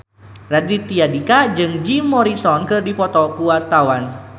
Raditya Dika jeung Jim Morrison keur dipoto ku wartawan